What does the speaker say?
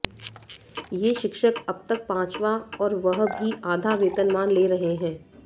ये शिक्षक अब तक पांचवां और वह भी आधा वेतनमान ले रहे हैं